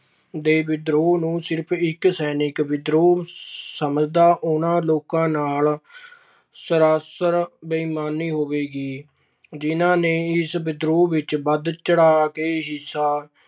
ਦੇ ਵਿਦਰੋਹ ਨੂੰ ਸਿਰਫ਼ ਇੱਕ ਸੈਨਿਕ ਵਿਦਰੋਹ ਸਮਝਣਾ, ਉਨ੍ਹਾਂ ਲੋਕਾਂ ਨਾਲ ਸਰਾਸਰ ਬੇਇਮਾਨੀ ਹੋਵੇਗੀ, ਜਿਨ੍ਹਾਂ ਨੇ ਇਸ ਵਿਦਰੋਹ ਵਿੱਚ ਵਧ-ਚੜ੍ਹ ਕੇ ਹਿੱਸਾ